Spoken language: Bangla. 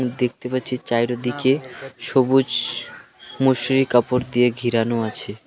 দেখতে পাচ্ছি চাইর দিকে সবুজ মশারির কাপড় দিয়ে ঘিরানো আছে.